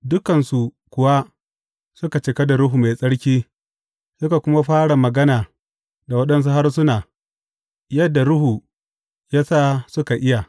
Dukansu kuwa suka cika da Ruhu Mai Tsarki suka kuma fara magana da waɗansu harsuna yadda Ruhu ya sa suka iya.